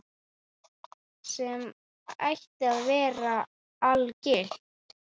Sem ætti að vera algilt.